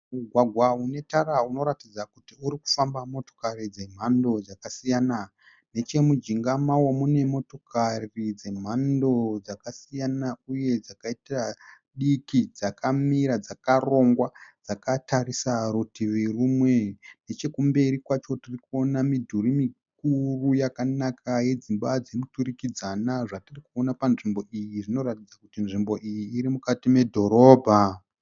Mugwagwa unetara unoratidza kuti urikufamba motokari dzemhando dzakasiyana. Nechemujinga mao mune motokari dzemhando dzakasiyana uye dzakaita diki dzakamira dzakarongwa dzakatarisa rutivi rumwe. Nechekumberi kwacho tiri kuona midhuri mikuru yakanaka yedzimba dzemuturikidzana zvatiri kuona panzvimbo iyi zvinoratidza kuti inzvimbo iyi iri mukati medhorobha